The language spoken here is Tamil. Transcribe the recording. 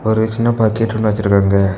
ஒரு சின்ன பக்கெட் ஒன்னு வச்சிருக்காங்க.